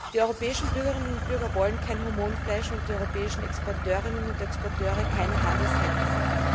Die europäischen Bürger und Bürgerinnen wollen kein Hormonfleisch und die europäischen Exporteurinnen und Exporteure keine Handelshemmnisse.